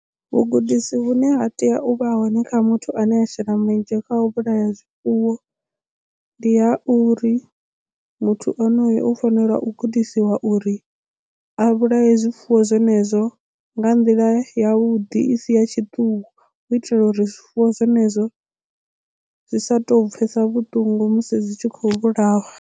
Vhugudisi vhune ha tea u vha hone kha muthu ane a shela mulenzhe kha u vhulaya zwifuwo ndi ha uri muthu onoyo u fanela u gudisiwa uri a vhulaye zwifuwo zwenezwo nga nḓila ya vhuḓi i si ya tshiṱuku u itela uri zwifuwo zwenezwo zwi sa to pfhesa vhuṱungu musi zwi tshi khou vhulawa.